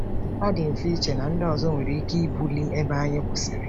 Ọ dị mfe iche na ndị ọzọ nwere ike ibuli ebe anyị kwụsịrị.